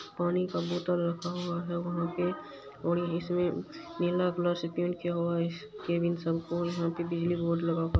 पानी का बोतल रखा हुआ है वहां पे और इसमे नीला कलर से पेंट किया हुआ है और बिजली बोर्ड लगा हुआ है--